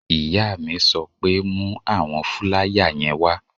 Ìyá mi sọ pé "mú àwọn fúláyà yẹn wá!"